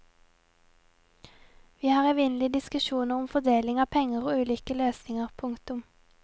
Vi har evinnelige diskusjoner om fordeling av penger og ulike løsninger. punktum